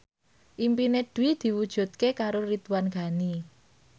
impine Dwi diwujudke karo Ridwan Ghani